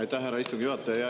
Aitäh, härra istungi juhataja!